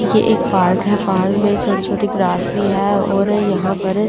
यह एक पार्क है पार्क में छोटी-छोटी ग्रास भी है और यहां पर अ।